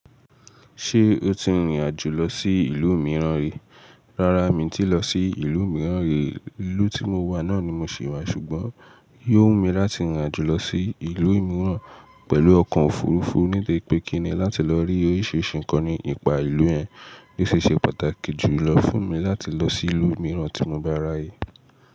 Ṣé o ti rìn ìrìn àjò lọ sí ìlú mìràn ríi? Rárá, mi ò tí ì lọ sí ìlú mìíràn rí. Ìlú tí mo wà náà ni mo ṣì wà. Ṣùgbọ́n yóò mú mi láti rìnrìn àjò lọ sí ìlú mìíràn pẹ̀lú ọkọ̀ òfurufú nítorí pé kíni láti lọ rí oríṣiríṣi ǹkan ní ìpá ìlú yẹn. Ó ṣe é ṣe pàtàkì jùlọ fún mi láti lọ sí ìlú imìíràn tí mo bá ráàyè.